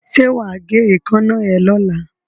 Ṣé wà á gé èékánná ẹ lọ́la?